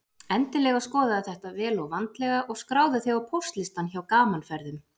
Endilega skoðaðu þetta vel og vandlega og skráðu þig á póstlistann hjá Gaman Ferðum.